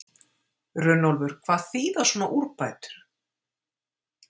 Runólfur, hvað þýða svona úrbætur?